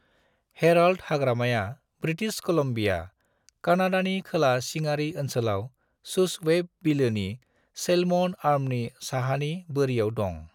Herald हाग्रामाया British Columbia, कानाडानि खोला सिङारि ओनसोलाव शूसवैप बिलोनि सैल्मन आर्मनि साहानि बोरियाव दं।